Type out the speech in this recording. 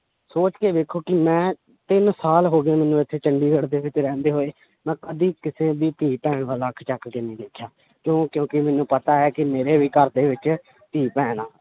ਸੋਚ ਕੇ ਵੇਖੋ ਕਿ ਮੈਂ ਤਿੰਨ ਸਾਲ ਹੋ ਗਏ ਮੈਨੂੰ ਇੱਥੇ ਚੰਡੀਗੜ੍ਹ ਦੇ ਵਿੱਚ ਰਹਿੰਦੇ ਹੋਏ ਮੈਂ ਕਦੇ ਕਿਸੇ ਦੀ ਧੀ ਭੈਣ ਵੱਲ ਅੱਖ ਚੁੱਕ ਕੇ ਨੀ ਦੇਖਿਆ ਕਿਉਂ ਕਿਉਂਕਿ ਮੈਨੂੰ ਪਤਾ ਹੈ ਕਿ ਮੇਰੇ ਵੀ ਘਰ ਦੇ ਵਿੱਚ ਧੀ ਭੈਣ ਆਂ